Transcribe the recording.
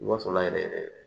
Wa sɔrɔ la yɛrɛ yɛrɛ